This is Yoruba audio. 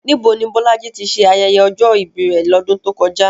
Níbo ni Bolaji ti ṣe ayẹyẹ ọjọ́ ìbí rẹ̀ lọ́dún tó kọjá?